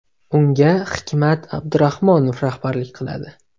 Unga Hikmat Abdurahmonov rahbarlik qiladi.